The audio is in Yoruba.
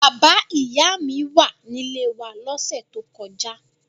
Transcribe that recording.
Bàbá-ìyá mi wà nílé wa lọ́sẹ̀ tó kọjá.